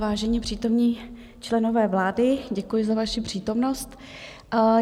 Vážení přítomní členové vlády, děkuji za vaši přítomnost.